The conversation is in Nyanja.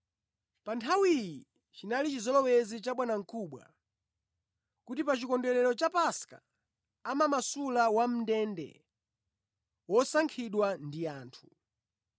Pa nthawiyi chinali chizolowezi cha bwanamkubwa kuti pachikondwerero cha Paska amamasula wamʼndende wosankhidwa ndi anthu.